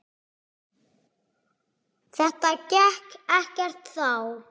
Þetta gekk ekkert þá.